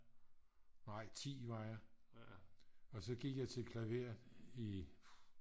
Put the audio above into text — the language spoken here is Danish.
nej 10 var jeg og så gik jeg til klaver i